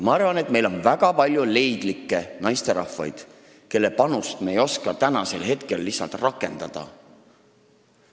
Ma arvan, et meil on väga palju leidlikke naisterahvaid, kelle panust me ei oska lihtsalt rakendada.